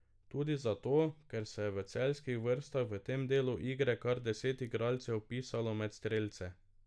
Tudi zato, ker se je v celjskih vrstah v tem delu igre kar deset igralcev vpisalo med strelce.